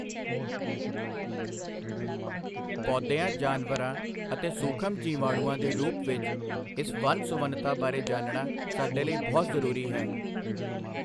ਪੌਦਿਆਂ ਜਾਨਵਰਾਂ ਅਤੇ ਸੂਖਮ ਜੀਵਾਣੂਆਂ ਦੇ ਰੂਪ ਵਿਚ ਇਸ ਵੰਨ ਸੁਵੰਨਤਾ ਬਾਰੇ ਜਾਣਨਾ ਸਾਡੇ ਲਈ ਬਹੁਤ ਜ਼ਰੂਰੀ ਹੈ।